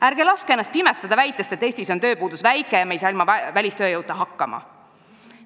Ärge laske ennast pimestada väitest, et Eestis on tööpuudus väike ja me ei saa ilma välistööjõuta hakkama.